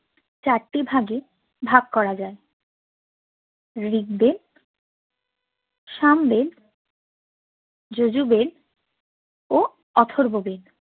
চারটি ভাগে ভাগ করা যায় ঋগবেদ সাম বেদ যজু বেদ ও অথর্ব বেদ